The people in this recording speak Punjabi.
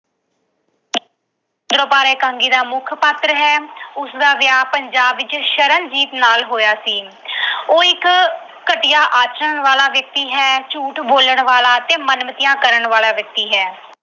ਇਕਾਂਗੀ ਵਿੱਚ ਮੁੱਖ ਪਾਤਰ ਹੈ। ਉਸਦਾ ਵਿਆਹ ਪੰਜਾਬ ਵਿੱਚ ਸ਼ਰਨਜੀਤ ਨਾਲ ਹੋਇਆ ਸੀ। ਉਹ ਇੱਕ ਘਟੀਆ ਆਚਰਨ ਵਾਲਾ ਵਿਅਕਤੀ ਹੈ, ਝੂਠ ਬੋਲਣ ਵਾਲਾ ਅਤੇ ਮਨਮਤੀਆਂ ਕਰਨ ਵਾਲਾ ਵਿਅਕਤੀ ਹੈ।